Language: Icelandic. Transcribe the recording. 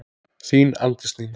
Þín Arndís Nína.